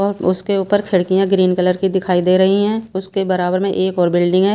और उसके ऊपर खिड़कियां ग्रीन कलर की दिखाई दे रही हैं उसके बराबर में एक और बिल्डिंग है।